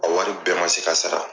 A wari bɛɛ man se ka sara.